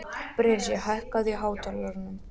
Bresi, hækkaðu í hátalaranum.